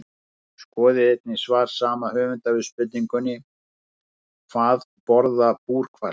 Skoðið einnig svar sama höfundur við spurningunni Hvað borða búrhvalir?